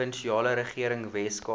provinsiale regering weskaap